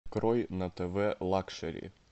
открой на тв лакшери